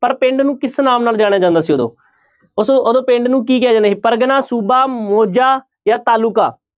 ਪਰ ਪਿੰਡ ਨੂੰ ਕਿਸ ਨਾਮ ਨਾਲ ਜਾਣਿਆ ਜਾਂਦਾ ਸੀ ਉਦੋਂ ਉਦੋਂ ਪਿੰਡ ਨੂੰ ਕੀ ਕਿਹਾ ਜਾਂਦਾ ਸੀ ਪਰਗਨਾ, ਸੂਬਾ, ਮੋਜਾ, ਜਾਂ ਤਾਲੂਕਾ।